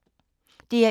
DR1